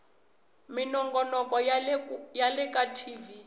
minongonoko ya le ka tv